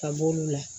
Ka b'olu la